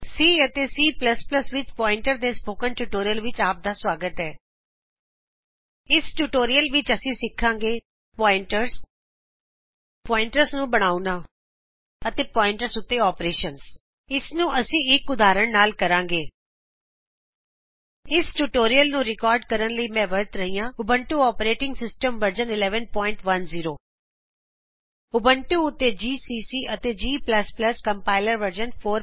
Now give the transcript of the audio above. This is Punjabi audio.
ਸੀ ਅਤੇ ਸੀ ਵਿੱਚ ਪੋਇੰਟਰ ਦੇ ਸਪੋਕੇਨ ਟਯੁਟੋਰਿਅਲ ਵਿੱਚ ਆਪਦਾ ਸਵਾਗਤ ਹੈ ਇਸ ਟਯੁਟੋਰਿਅਲ ਵਿਚ ਅੱਸੀ ਸਿਖਾਂਗੇ ਪੋਇੰਟਰਸ ਪੋਇੰਟਰਸ ਨੂੰ ਬਣਾਉਣਾ ਅਤੇ ਪੋਇੰਟਰਸ ਉੱਤੇ ਓਪਰਏਸ਼ਨਸ ਇਸ ਨੂੰ ਅਸੀ ਇੱਕ ਉਧਾਹਰਣ ਦੇ ਨਾਲ ਕਰਾਂਗੇ ਇਸ ਟਯੁਟੋਰਿਅਲ ਨੂੰ ਰਿਕਾਰਡ ਕਰਨ ਲਈ ਮੈ ਵਰਤ ਰਿਹਾ ਉਬੁੰਤੁ ਓਪੇਰਟਿੰਗ ਸਿਸਟਮ ਵਰਜਨ1110 ਉਬੁੰਤੁ ਉੱਤੇ ਜੀਸੀਸੀ ਅਤੇ ਜੀ ਜੀ ਕੋਮ੍ਪਾਇਲਰ ਵਰਜਨ 461